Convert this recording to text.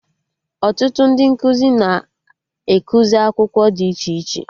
Ọtụtụ ndị nkụzi na ekuzi akwụkwọ dị iche iche